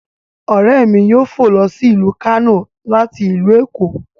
Ọ̀ré mi yóò fọ̀ ló sí ilu Kano láti ilu Eko